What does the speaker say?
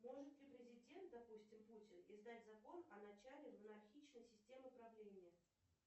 может ли президент допустим путин издать закон о начале монархичной системы правления